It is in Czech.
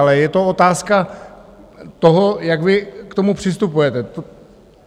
Ale je to otázka toho, jak vy k tomu přistupujete.